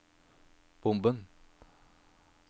bomben